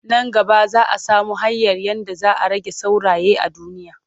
Nan gaba za samo hanyar yadda za a rage sauraye a duniya.